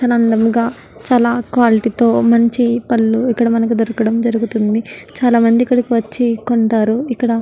చాలా అందంగ చాలా క్వాలిటీతో మంచి పళ్ళు ఇక్కడ మనకి దొరకడం జరుగుతుంది చాలా మంది ఇక్కడికి వచ్చి కొంటారు ఇక్కడ.